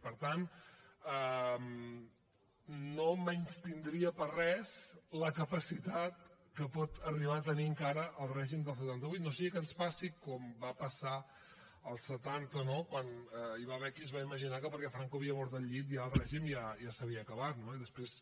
i per tant no menystindria per res la capacitat que pot arribar a tenir encara el règim del setanta vuit no sigui que ens passi com va passar als setanta no quan hi va haver que es va imaginar que perquè franco havia mort al llit ja el règim ja s’havia acabat no i després